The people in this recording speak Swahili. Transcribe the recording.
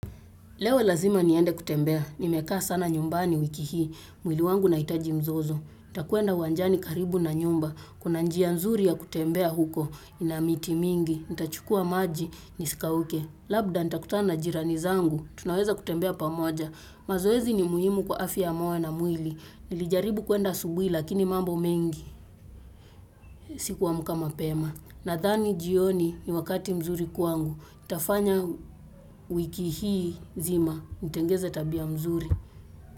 Leo lazima niende kutembea, nimekaa sana nyumbani wiki hii. Mwili wangu unahitaji mazoezi. Nita kuenda uwanjani karibu na nyumba, kuna njia nzuri ya kutembea huko, inamiti mingi, nita chukua maji, isikauke. Labda nitakutana na jirani zangu, tunaweza kutembea pamoja. Mazoezi ni muhimu kwa afya ya moyo na mwili, nilijaribu kwenda asubuhi lakini mambo mengi, sikuwa naamka mapema. Nadhani jioni ni wakati mzuri kwangu, itafanya wiki hii nzima, itengeneza tabia nzuri.